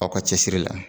Aw ka cɛsiri la